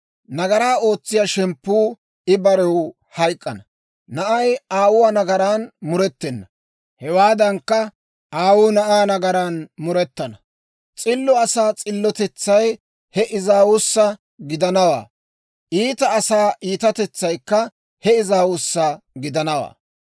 Nagaraa ootsiyaa shemppuu I barew hayk'k'ana. Na'ay aawuwaa nagaran murettena; hewaadankka, aawuu na'aa nagaran murettana. S'illo asaa s'illotetsay he aawuwaassa gidanawaa; iita asaa iitatetsaykka he aawuwaassa gidanawaa.